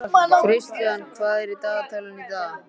Kristian, hvað er í dagatalinu í dag?